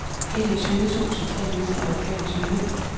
enogtyve tusind tre hundrede og femogtyve